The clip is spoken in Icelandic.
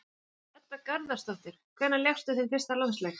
Allavega ekki Edda Garðarsdóttir Hvenær lékstu þinn fyrsta landsleik?